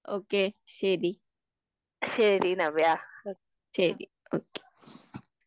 okay ശരി ശരി